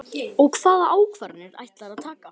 Og hvaða ákvarðanir ætlarðu að taka?